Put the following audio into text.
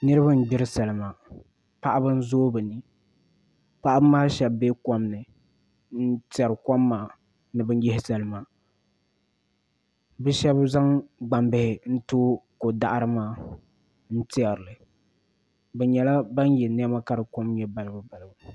Niraba n gbiri salima paɣaba n zooi bi ni paɣaba maa shab bɛ kom ni n tiɛri kom maa ni bi yihi salima bi shab zaŋ gbambihi n tooi ko daɣari maa n tiɛrili bi nyɛla ban yɛ niɛma ka di kom nyɛ balibu balibu